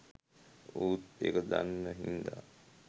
ඌත් ඒක දන්න හින්දා